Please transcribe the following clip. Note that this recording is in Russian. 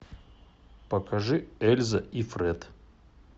покажи эльза и фред